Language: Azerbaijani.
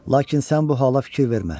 Lakin sən bu hala fikir vermə.